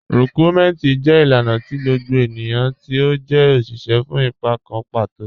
Rikúnmẹntí jẹ́ ilànà tì gbogbo ẹniyan tí ó jẹ́ oṣiṣẹ́ fún ìpà kàn patò.